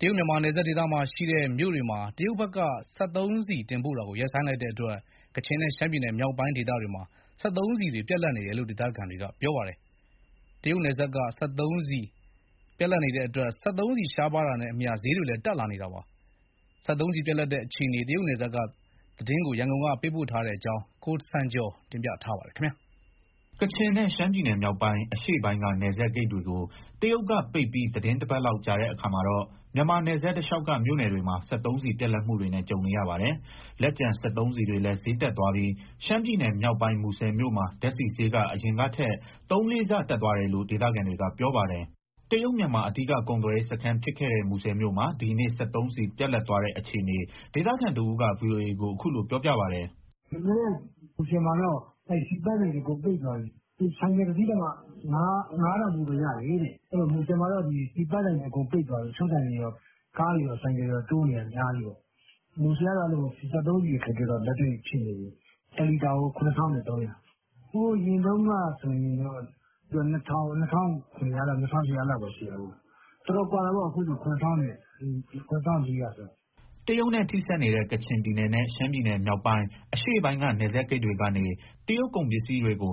တရုတ်- မြန်မာနယ်စပ်ဒေသမှာရှိတဲ့ မြို့တွေကို စက်သုံးဆီ တင်ပို့တာကို တရုတ်ဘက်က ရပ်ဆိုင်းလိုက်တဲ့အတွက် ကချင်နဲ့ ရှမ်းပြည်နယ်မြောက်ပိုင်းမှာ စက်သုံးဆီတွေ ပြတ်လပ်နေတယ်လို့ ဒေသခံတွေက ပြောပါတယ်။ စက်သုံးဆီရှားပါးလာတာနဲ့အမျှ ဈေးတွေလည်း တက်လာနေတယ်လို့ ပြောပါတယ်။ တရုတ်ပြည်နယ်စပ်က စက်သုံးဆီပြတ်လပ်တဲ့ အခြေအနေ ရန်ကုန်ကနေ သတင်းပေးပို့ထားပါတယ်။ ကချင်နဲ့ ရှမ်းပြည်နယ်မြောက်ပိုင်း၊ အရှေ့ပိုင်းက နယ်စပ်ဂိတ်တွေကို တရုတ်ကပိတ်ပြီး သီတင်းတပတ်လောက် ကြာတဲ့အခါမှာတော့ မြန်မာနယ်စပ်တလျှောက်က မြို့နယ်တွေမှာ စက်သုံးဆီပြတ်လပ်မှုတွေနဲ့ ကြုံနေရပါတယ်။ လက်ကျန် စက်သုံးဆီတွေလည်း ဈေးတက်သွားပြီး ရှမ်းပြည်နယ်မြောက်ပိုင်း မူဆယ်မြို့မှာ ဓာတ်ဆီဈေးက အရင်ကထက် သုံးလေးဆ တက်သွားတယ်လို့ ဒေသခံတွေက ပြောပါတယ်။ တရုတ်-မြန်မာ အဓိက ကုန်သွယ်ရေးစခန်းဖြစ်ခဲ့တဲ့ မူဆယ်မြို့မှာ ဒီနေ့ စက်သုံးဆီပြတ်လပ်သွားတဲ့အခြေအနေ ဒေသခံတဦးက ဗွီအိုအေကို အခုလိုပြောပြပါတယ်။ "ဒီနေ့ မူဆယ်မှာ (ဆီ)ပန့်ဆိုင်တွေ အကုန်ပိတ်သွားပြီ။ ဆိုင်ကယ်တစီးတောင်မှ ၅ထောင်ဖိုးပဲ ရတယ်တဲ့။ အဲဒီတော့ မူဆယ်မှာ ဆီပန့်ဆိုင်တွေ အကုန်ပိတ်သွားပြီ၊ တချို့ဆိုင်တွေတော့ ကားတွေရော ဆိုင်ကယ်တွေရော တိုးနေတာ အများကြီးပဲ။ မူဆယ်ကတော့ စက်သုံးဆီအခက်အခဲ လက်တွေ့ဖြစ်နေတယ်၊ တလီတာကို ၇၃၀၀။ ဟိုအရင်တုန်းကဆိုရင် ၂,၀၀၀၊ ၂,၇၀၀၊ ၂,၈၀၀ ဒီလောက်ပဲရှိတာ။ တော်တော်ကွာတာပေါ့ အခုဆိုရင် ၇,၄၀၀ ကျော်။" တရုတ်နဲ့ထိစပ်နေတဲ့ ကချင်ပြည်နယ်နဲ့ ရှမ်းပြည်နယ်မြောက်ပိုင်း၊ အရှေ့ပိုင်းက နယ်စပ်ဂိတ်တွေကနေ တရုတ်ကုန်ပစ္စည်းတွေကို မ